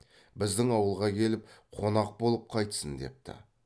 біздің ауылға келіп қонақ болып қайтсын депті